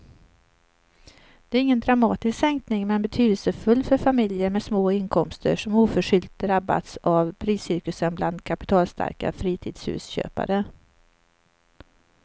Det är ingen dramatisk sänkning men betydelsefull för familjer med små inkomster som oförskyllt drabbats av priscirkusen bland kapitalstarka fritidshusköpare.